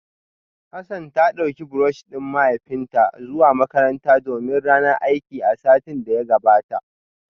Hassan ta dauki brush din mahaifinta zuwa makaranta domin ranar aiki a satin da ya gabata